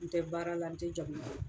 N tɛ baara la n tɛ jago kɛ.